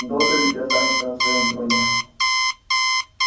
и долго ли ты останешься на своём троне